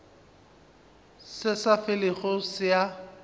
se sa felego se a